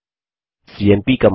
CMP command